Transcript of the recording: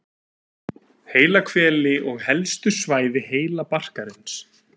Hvelaheili og helstu svæði heilabarkarins.